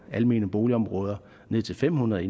almene boligområder ned til fem hundrede